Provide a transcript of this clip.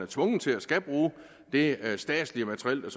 tvunget til at skulle bruge det statslige materiel der